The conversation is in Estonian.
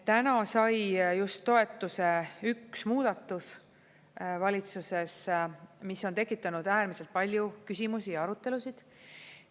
Täna sai just toetuse üks muudatus valitsuses, mis on tekitanud äärmiselt palju küsimusi ja arutelusid.